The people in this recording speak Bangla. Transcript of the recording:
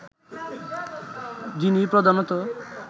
যিনি প্রধানত